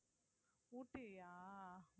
ஊட்டியா